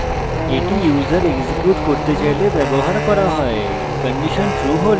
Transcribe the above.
এই user execute করতে চাইলে ব্যবহার করা হয়